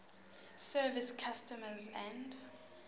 service customs and